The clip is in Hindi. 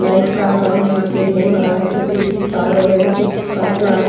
लाइट का काम यहां पे हो रहा है जो कि तार वगैरह कुछ काट रहा है।